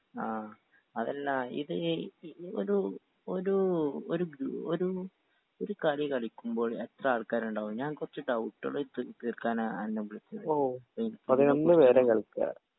ആ അതല്ല ഇത് ഒരു ഒരു ഒരു ഒരു കളി കളിക്കുമ്പോൾ എത്രാൾക്കാര്ണ്ടാവും ഞാൻ കൊറച്ച് ഡൗട്ടേള് തി തീർക്കാനാ അന്നെ വുളിച്ചത്